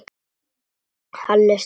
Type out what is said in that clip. Halli stóð upp.